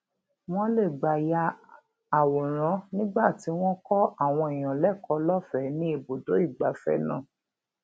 wón lè gbà ya àwòrán nígbà tí wón ń kó àwọn èèyàn lékòó lófèé ní ibùdó ìgbafé náà